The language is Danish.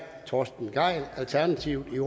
torsten gejl alternativet